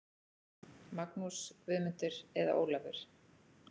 Magnús, Guðmundur eða Ólafur.